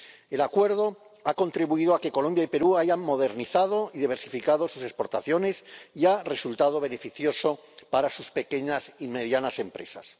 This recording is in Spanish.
El Acuerdo ha contribuido a que Colombia y Perú hayan modernizado y diversificado sus exportaciones y ha resultado beneficioso para sus pequeñas y medianas empresas.